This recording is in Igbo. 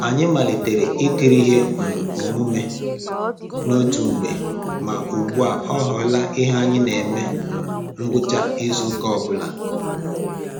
Anyị malitere ikiri ihe um omume n'otu mgbe ma ugbu a ọ ghọla ihe anyị na eme na um ngwụcha izu ụka anyị ọ bụla